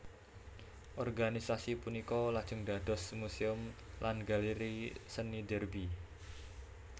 Organisasi punika lajeng dados Museum lan Galeri Seni Derby